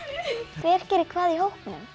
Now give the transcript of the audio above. hver gerir hvað í hópnum